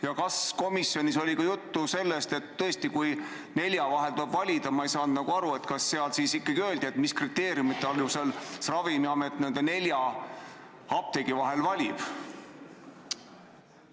Ja kas komisjonis oli juttu, et tõesti, kui nelja apteegi vahel tuleb valida, siis mis kriteeriumite alusel Ravimiamet nende nelja apteegi vahel valib?